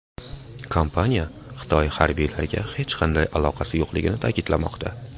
Kompaniya Xitoy harbiylariga hech qanday aloqasi yo‘qligini ta’kidlamoqda.